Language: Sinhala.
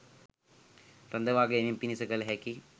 රඳවා ගැනීම පිණිස කළ හැකි